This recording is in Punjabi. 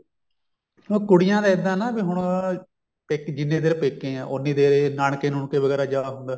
ਹੁਣ ਕੁੜੀਆਂ ਦੇ ਇੱਦਾਂ ਨਾ ਕੇ ਹੁਣ ਜਿੰਨੀ ਦੇਰ ਪੇਕੇ ਐ ਉਹਨੀ ਦੇਰ ਨਾਨਕੇ ਨੁਨਕੇ ਵਗੈਰਾ ਜਾ ਹੁੰਦਾ